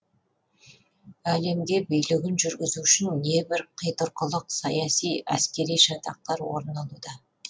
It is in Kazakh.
әлемге билігін жүргізу үшін небір қитұрқылық саяси әскери шатақтар орын алуда